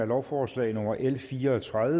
lovforslag nummer l 54